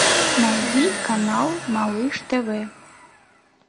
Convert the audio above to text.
найди канал малыш тв